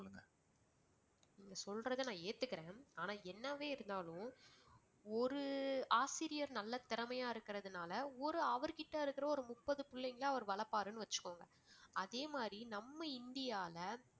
நீங்க சொல்றதை நான் ஏத்துக்கிறேன். ஆனால் என்னவே இருந்தாலும் ஒரு ஆசிரியர் நல்ல திறமையான இருக்கிறதுனால ஒரு அவர் கிட்ட இருக்கிற ஒரு முப்பது புள்ளைங்கள அவர் வளர்ப்பாருன்னு வெச்சுக்கோங்க. அதேமாதிரி நம்ம இந்தியால